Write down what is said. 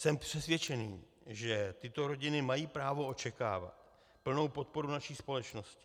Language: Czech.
Jsem přesvědčen, že tyto rodiny mají právo očekávat plnou podporu naší společnosti.